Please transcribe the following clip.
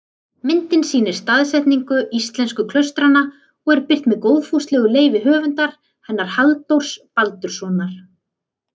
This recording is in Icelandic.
Myndin sýnir staðsetningu íslensku klaustranna og er birt með góðfúslegu leyfi höfundar hennar, Halldórs Baldurssonar.